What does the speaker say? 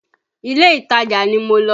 Ilé-ìtajà ni mo lọ